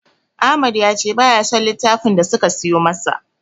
Ahmad ya ce baya son littafin da suka siyo masa.